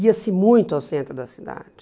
Ia-se muito ao centro da cidade.